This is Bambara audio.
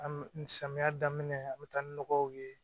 An bɛ samiya daminɛ an bɛ taa ni nɔgɔw ye